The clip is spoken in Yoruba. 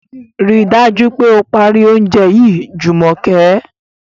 Ríi dájú pé o parí oúnjẹ yìí Jùmọ̀kẹ́!